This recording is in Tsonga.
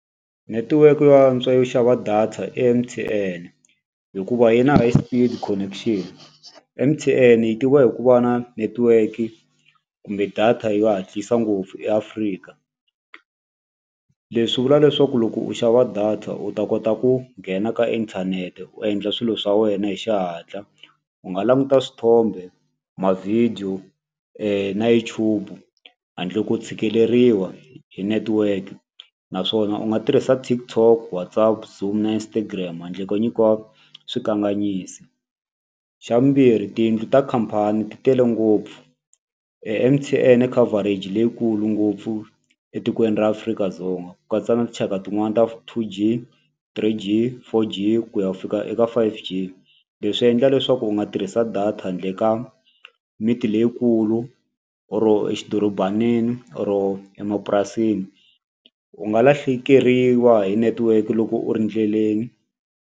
Netiweke yo antswa yo xava data i M_T_N hikuva yi na high speed connection M_T_N yi tiviwa hi ku va na netiweki kumbe data yo hatlisa ngopfu eAfrika leswi vula leswaku loko u xava data u ta kota ku nghena ka inthanete u endla swilo swa wena hi xihatla. U nga languta swithombe, ma-video na YouTube handle ko tshikeleriwa hi network naswona u nga tirhisa TikTok, WhatsApp, zoom na Instagram handle ko nyikiwa swikanganyisi. Xa vumbirhi tiyindlu ta khampani ti tele ngopfu M_T_N i coverage leyikulu ngopfu etikweni ra Afrika-Dzonga ku katsa na tinxaka tin'wani ta two G, three G, four G ku ya fika eka five G leswi endla leswaku u nga tirhisa data handle ka miti leyikulu or xidorobanini or emapurasini u nga lahlekeriwa hi network loko u ri endleleni.